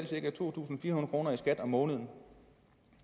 cirka to tusind fire kroner i skat om måneden